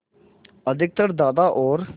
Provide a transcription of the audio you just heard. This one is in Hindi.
अधिकतर दादा और